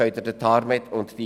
Denken Sie an TARMED und DRG.